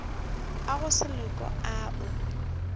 a go se loke ao